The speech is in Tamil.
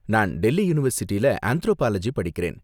நான் டெல்லி யூனிவர்சிட்டில ஆந்த்ரோபாலஜி படிக்கறேன்.